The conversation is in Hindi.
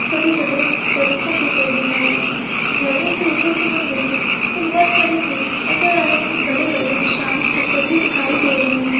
छोटे छोटे तरीको के पेड़ दिखाई दे रहे है झरने के ऊपर भी हम देखे तो बहुत सारे पेड़ नजर आ रहे है बड़े बड़े विशाल पत्थर भी दिखाई दे रहे है।